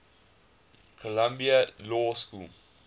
columbia law school